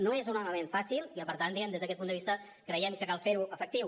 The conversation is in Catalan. no és un element fàcil i per tant diguem ne des d’aquest punt de vista creiem que cal fer ho efectiu